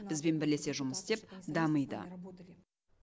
бізбен бірлесе жұмыс істеп дамиды